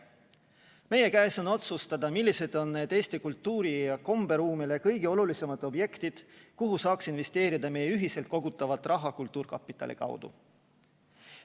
Meie otsustada on, millised on need Eesti kultuuri‑ ja komberuumile kõige olulisemad objektid, kuhu saaks investeerida meie ühiselt kultuurkapitali kaudu kogutavat raha.